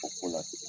O ko la ten